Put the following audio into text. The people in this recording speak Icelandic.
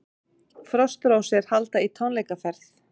Frostrósir halda í tónleikaferð